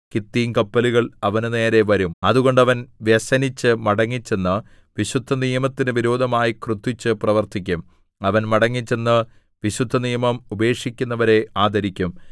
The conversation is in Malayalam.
കിത്തീംകപ്പലുകൾ അവന്റെനേരെ വരും അതുകൊണ്ട് അവൻ വ്യസനിച്ച് മടങ്ങിച്ചെന്ന് വിശുദ്ധനിയമത്തിനു വിരോധമായി ക്രുദ്ധിച്ച് പ്രവർത്തിക്കും അവൻ മടങ്ങിച്ചെന്ന് വിശുദ്ധനിയമം ഉപേക്ഷിക്കുന്നവരെ ആദരിക്കും